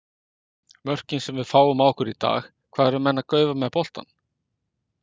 Mörkin sem við fáum á okkur í dag, hvað eru menn að gaufa með boltann?